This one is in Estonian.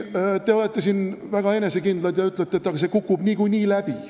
Te olete väga enesekindlad ja ütlete, et see umbusalduse avaldamine kukub niikuinii läbi.